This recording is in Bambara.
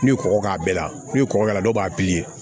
N'u kɔgɔ k'a bɛɛ la n'u kɔgɔra dɔw b'a